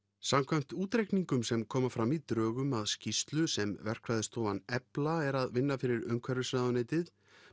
samkvæmt útreikningum sem koma fram í drögum að skýrslu sem verkfræðistofan Efla er að vinna fyrir umhverfisráðuneytið